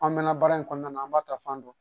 An mɛnna baara in kɔnɔna na an b'a ta fan don